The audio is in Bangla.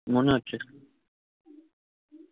মনে হচ্ছে